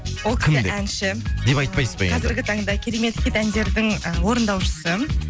ол әнші деп айтпайсыз ба енді қазіргі таңда керемет хит әндердің ы орындаушысы